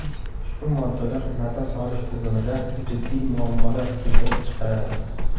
Ushbu moddalar nafas olish tizimida jiddiy muammolar keltirib chiqaradi.